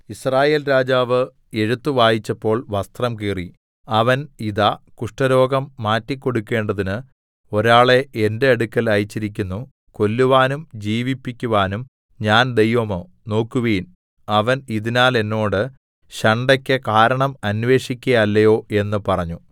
യിസ്രായേൽ രാജാവ് എഴുത്തു വായിച്ചപ്പോൾ വസ്ത്രം കീറി അവൻ ഇതാ കുഷ്ഠരോഗം മാറ്റിക്കൊടുക്കേണ്ടതിന് ഒരാളെ എന്റെ അടുക്കൽ അയച്ചിരിക്കുന്നു കൊല്ലുവാനും ജീവിപ്പിക്കുവാനും ഞാൻ ദൈവമോ നോക്കുവിൻ അവൻ ഇതിനാൽ എന്നോട് ശണ്ഠക്ക് കാരണം അന്വേഷിക്കയല്ലയോ എന്ന് പറഞ്ഞു